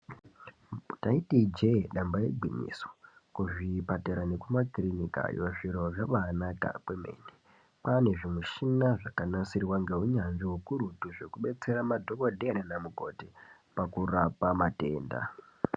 Taiti ijee damba igwinyiso kuzvipatara nekumakirinika zviro zvamwainaka kwemene kwave nezvimichina zvakanasirwa ngeunyanzvi ukurutu zvekubetsera madhokotera nanamukoti zvokurapa matenda.